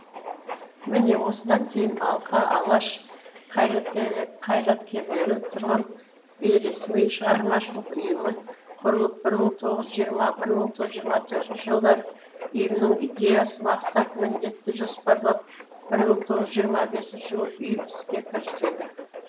міне осыдан кейін алқа алаш қайраткерлері құрған бейресми шығармашылық ұйымы құрылып бір мың тоғыз жүз жирма бір мың тоғыз жүз жиырма төрт жылдары ұйымның идеясы мақсат міндеті жоспарланып мың тоғыз жүз жиырма бесінші жылы ұйым іске кіріседі